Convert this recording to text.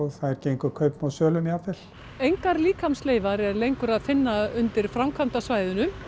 þær gengu kaupum og sölum jafnvel engar líkamsleifar er lengur að finna undir framkvæmdasvæðinu